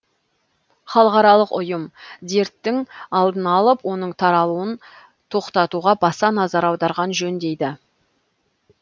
халықаралық ұйым дерттің алдын алып оның таралуын тоқтатуға баса назар аударған жөн дейді